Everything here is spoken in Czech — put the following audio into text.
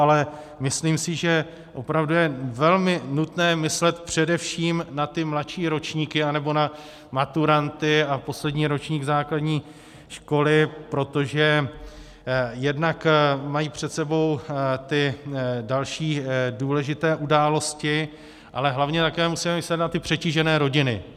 Ale myslím si, že opravdu je velmi nutné myslet především na ty mladší ročníky, nebo na maturanty a poslední ročník základní školy, protože jednak mají před sebou ty další důležité události, ale hlavně také musíme myslet na ty přetížené rodiny.